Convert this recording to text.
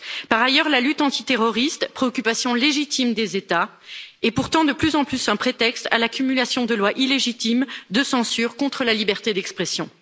Par ailleurs, la lutte antiterroriste préoccupation légitime des États est pourtant de plus en plus un prétexte à l'accumulation de lois illégitimes de censure contre la liberté d'expression.